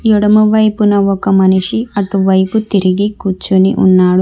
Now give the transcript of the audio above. ఎడమవైపున ఒక మనిషి అటువైపు తిరిగి కూర్చుని ఉన్నాడు.